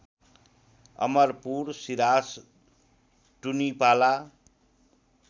Amarpur Siras Tunipala